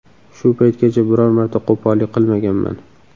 Shu paytgacha biror marta qo‘pollik qilmaganman.